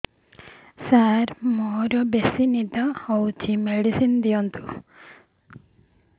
ସାର ମୋରୋ ବେସି ନିଦ ହଉଚି ମେଡିସିନ ଦିଅନ୍ତୁ